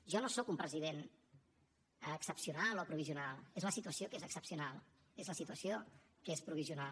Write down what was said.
jo no soc un president excepcional o provisional és la situació que és excepcional és la situació que és provisional